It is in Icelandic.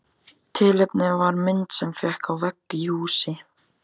Tilefnið var mynd sem hékk á vegg í húsi.